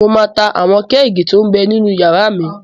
Mo máa ta àwọn kẹ́ẹ̀gì tó m bẹ ninú yàrá mi